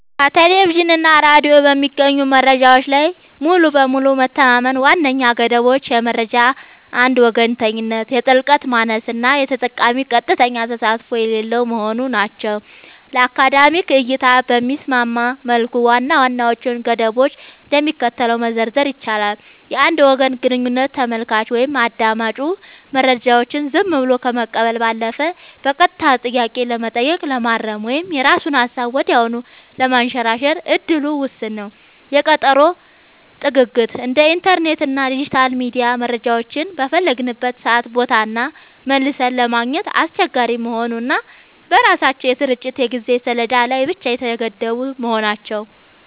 ከቴሌቪዥን እና ሬዲዮ በሚገኙ መረጃዎች ላይ ሙሉ በሙሉ መተማመን ዋነኛ ገደቦቹ የመረጃ አንድ ወገንተኝነት፣ የጥልቀት ማነስ እና የተጠቃሚዎች ቀጥተኛ ተሳትፎ የሌለው መሆኑ ናቸው። ለአካዳሚክ እይታ በሚስማማ መልኩ ዋና ዋናዎቹን ገደቦች እንደሚከተለው መዘርዘር ይቻላል፦ የአንድ ወገን ግንኙነት : ተመልካቹ ወይም አዳማጩ መረጃውን ዝም ብሎ ከመቀበል ባለፈ በቀጥታ ጥያቄ ለመጠየቅ፣ ለማረም ወይም የራሱን ሃሳብ ወዲያውኑ ለማንሸራሸር እድሉ ውስን ነው። የቀጠሮ ጥግግት : እንደ ኢንተርኔት እና ዲጂታል ሚዲያ መረጃዎችን በፈለግንበት ሰዓትና ቦታ መልሰን ለማግኘት አስቸጋሪ መሆኑ እና በራሳቸው የስርጭት የጊዜ ሰሌዳ ላይ ብቻ የተገደቡ መሆናቸው።